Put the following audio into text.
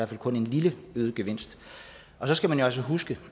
fald kun en lille øget gevinst og så skal man jo altså huske